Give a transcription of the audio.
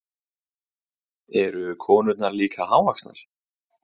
Eru konurnar líka hávaxnar?